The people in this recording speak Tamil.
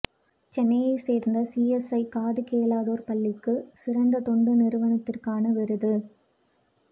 சென்னையை சேர்ந்த சிஎஸ்ஐ காது கேளாதோர் பள்ளிக்கு சிறந்த தொண்டு நிறுவனத்திற்கான விருது